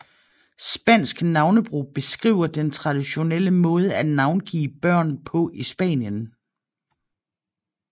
Spansk navnebrug beskriver den traditionelle måde at navngive børn på i Spanien